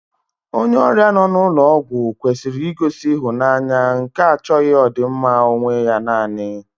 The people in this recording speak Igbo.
Onye ọrịa nọ n'ụlọ ọgwụ kwesịrị igosi ịhụnanya nke achọghị ọdịmma onwe ya nanị